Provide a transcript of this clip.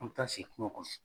An mi taa sigi kungo kɔnɔ.